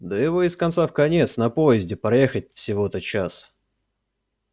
да его из конца в конец на поезде проехать всего-то час